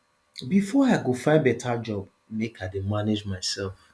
before i go find beta job make i dey manage mysef